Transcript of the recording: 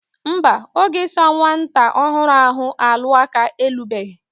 Nba, oge isa nwata ohuru ahu alu aka elubehi.